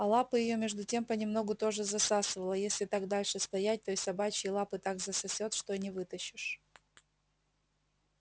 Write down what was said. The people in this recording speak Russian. а лапы её между тем понемногу тоже засасывало если так дальше стоять то и собачьи лапы так засосёт что и не вытащишь